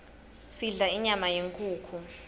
sidla inyama yenkhukhu